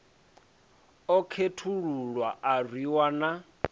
a khethululwa a rwiwa na